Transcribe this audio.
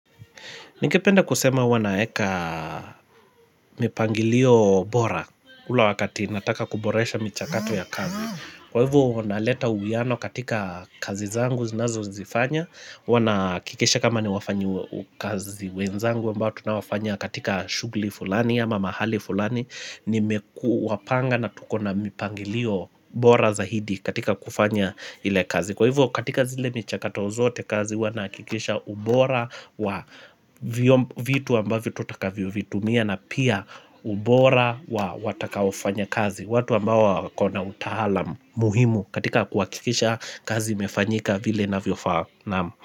Ningependa kusema huwa naeka mipangilio bora ule wakati nataka kuboresha michakato ya kazi. Kwa hivo naleta uwiano katika kazi zangu zinazozifanya. Huwa nahakikisha kama ni wafanyikazi wenzangu ambao tunao fanya katika shughli fulani ya mahali fulani. Nime kuwapanga na tuko na mipangilio bora zaidi katika kufanya ile kazi. Kwa hivyo katika zile michakato zote kazi huwa nahakikisha ubora wa vitu ambavo tu utakavyo vitumia na pia ubora wa watakaofanya kazi watu ambao wako na utaalamu muhimu katika kuhakikisha kazi imefanyika vile inavyofaa naamu.